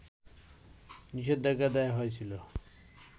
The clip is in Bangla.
নিষেধাজ্ঞা দেয়া হয়েছিল